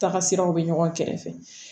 Taagasiraw bɛ ɲɔgɔn kɛrɛfɛ